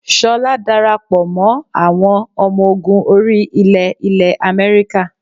Ṣọlá darapọ̀ mọ́ àwọn ọmọ ogun orí ilẹ̀ ilẹ̀ America